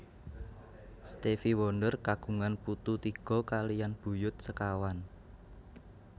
Stevie Wonder kagungan putu tiga kaliyan buyut sekawan